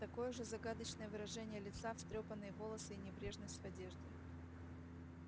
такое же загадочное выражение лица встрёпанные волосы и небрежность в одежде